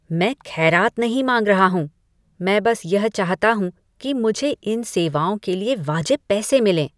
मैं खैरात नहीं मांग रहा हूँ , मैं बस यह चाहता हूँ कि मुझे इन सेवाओं के लिए वाजिब पैसे मिलें।